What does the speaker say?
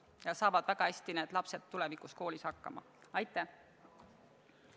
Ja need lapsed saavad tulevikus koolis väga hästi hakkama.